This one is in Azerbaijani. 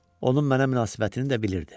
Onun mənə münasibətini də bilirdi.